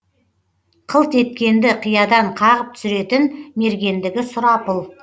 қылт еткенді қиядан қағып түсіретін мергендігі сұрапыл